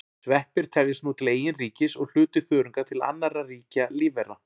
Sveppir teljast nú til eigin ríkis og hluti þörunga til annarra ríkja lífvera.